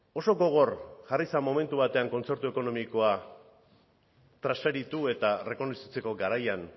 oso gogor jarri zen momentu batean kontzertu ekonomikoa transferitu eta errekonozitzeko garaian